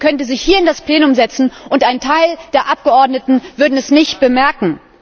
Ich wette, sie könnte sich hier in das Plenum setzen, und ein Teil der Abgeordneten würde es nicht bemerken.